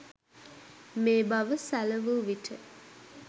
මේ බව සැලවු විට